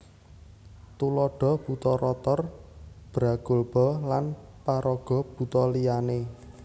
Tuladha Buta Rotor Bragolba lan paraga buta liyané